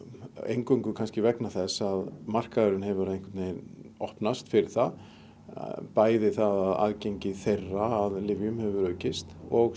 eingöngu kannski vegna þess að markaðurinn hefur einhvern veginn opnast fyrir það bæði það að aðgengi þeirra að lyfjum hefur aukist og